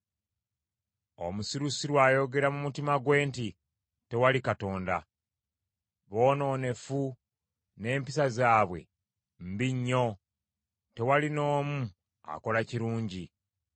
Omusirusiru ayogera mu mutima gwe nti, “Tewali Katonda.” Boonoonefu, n’empisa zaabwe mbi nnyo; tewali n’omu akola kirungi.